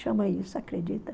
Chama isso, acredita?